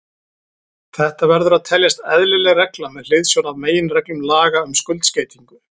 Þetta verður að teljast eðlileg regla með hliðsjón af meginreglum laga um skuldskeytingu.